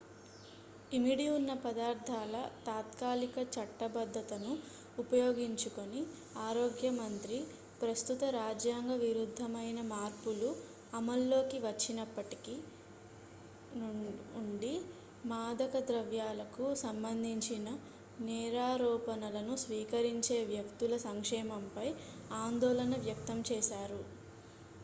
ఇమిడి ఉన్న పదార్థాల తాత్కాలిక చట్టబద్ధతను ఉపయోగించుకుని ఆరోగ్య మంత్రి ప్రస్తుత రాజ్యాంగ విరుద్ధమైన మార్పులు అమల్లోకి వచ్చినప్పటి నుండి మాదక ద్రవ్యాలకు సంబంధించిన నేరారోపణలను స్వీకరించే వ్యక్తుల సంక్షేమంపై ఆందోళన వ్యక్తం చేశారు